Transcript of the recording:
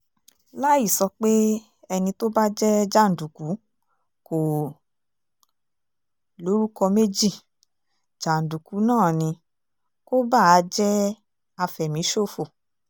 láì sọ pé ẹni tó bá jẹ́ jàǹdùkú kò lórúkọ méjì jàǹdùkú náà ni kó bàa jẹ́ àfẹ̀míṣòfò